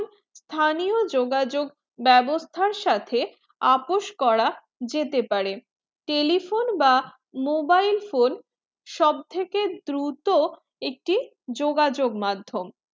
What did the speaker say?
স্থানীয় যোগ যোগ বেবস্তা সাথে আপস করা যেতে পারে telephone বা mobile phone সব থেকে দূরত্ব একটি যোগাযোগ মাধ্যম